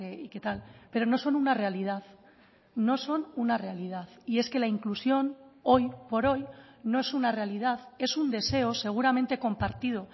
y que tal pero no son una realidad no son una realidad y es que la inclusión hoy por hoy no es una realidad es un deseo seguramente compartido